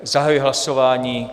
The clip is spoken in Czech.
Zahajuji hlasování.